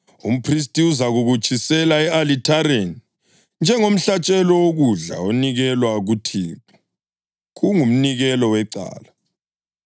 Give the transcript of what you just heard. Umphristi uzakukutshisela e-alithareni njengomhlatshelo wokudla onikelwa kuThixo. Kungumnikelo wecala.